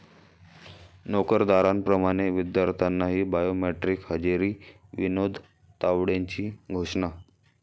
नोकरदारांप्रमाणे विद्यार्थ्यांनाही बायोमेट्रिक हजेरी, विनोद तावडेंची घोषणा